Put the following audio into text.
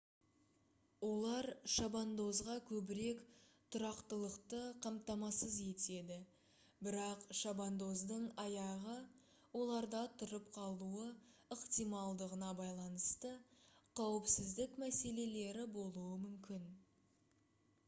олар шабандозға көбірек тұрақтылықты қамтамасыз етеді бірақ шабандоздың аяғы оларда тұрып қалуы ықтималдығына байланысты қауіпсіздік мәселелері болуы мүмкін